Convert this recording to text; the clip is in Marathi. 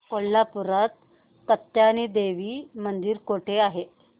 कोल्हापूरात कात्यायनी देवी मंदिर कुठे आहे